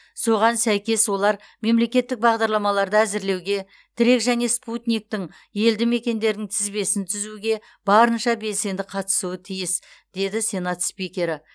соған сәйкес олар мемлекеттік бағдарламаларды әзірлеуге тірек және спутниктің елді мекендердің тізбесін түзуге барынша белсенді қатысуы тиіс деді сенат спикері